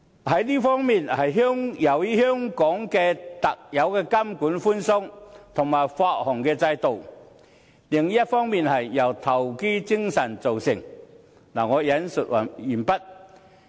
這一方面是由於香港特有的監管寬鬆和發行制度，另一方面是由香港人的投機精神造就的。